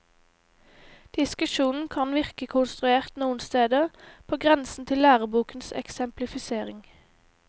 Diskusjonen kan virke konstruert noen steder, på grensen til lærebokens eksemplifisering.